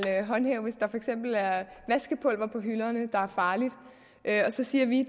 håndhæve hvis der for eksempel er vaskepulver på hylderne der er farligt og så siger vi